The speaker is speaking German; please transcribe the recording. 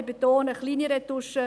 ich betone: kleine Retuschen.